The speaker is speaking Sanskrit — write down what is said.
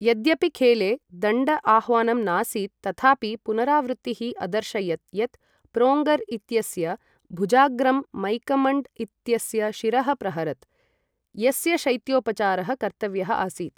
यद्यपि खेले दण्ड आह्वानं नासीत्, तथापि पुनरावृत्तिः अदर्शयत् यत् प्रोङ्गर् इत्यस्य भुजाग्रं मैकम्मण्ड् इत्यस्य शिरः प्रहरत्, यस्य शैत्योपचारः कर्तव्यः आसीत्।